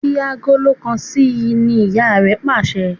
Fí Àgòló kán sí! ní ìyá rẹ pàṣẹ.